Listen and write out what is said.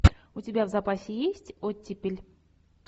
у тебя в запасе есть оттепель